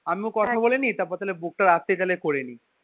আমিও কথা বলে নি তারপর তাহলে book টা রাত্রে তাহলে করে নি